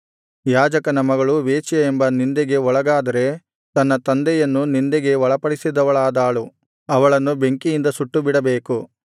ಯಾಜಕನ ಮಗಳು ವೇಶ್ಯೆ ಎಂಬ ನಿಂದೆಗೆ ಒಳಗಾದರೆ ತನ್ನ ತಂದೆಯನ್ನು ನಿಂದೆಗೆ ಒಳಪಡಿಸಿದವಳಾದಳು ಅವಳನ್ನು ಬೆಂಕಿಯಿಂದ ಸುಟ್ಟುಬಿಡಬೇಕು